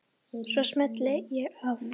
Svo smelli ég af.